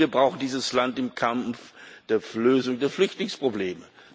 Und wir brauchen dieses Land im Kampf für die Lösung der Flüchtlingsprobleme.